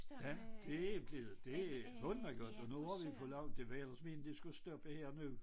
Ja det blevet det hammergodt og nu har vi fået lov til det var ellers meningen det skulle stoppe her nu